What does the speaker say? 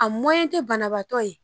A tɛ banabaatɔ ye